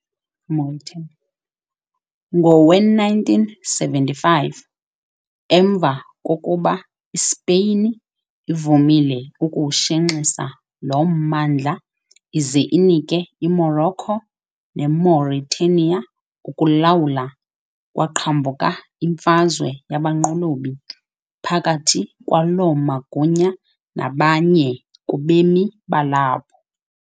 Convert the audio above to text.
Ngowe-1975, emva kokuba iSpeyin ivumile ukuwushenxisa lo mmandla ize inike iMorocco neMauritania ukulawula, kwaqhambuka imfazwe yabanqolobi phakathi kwaloo magunya nabanye kubemi balapho .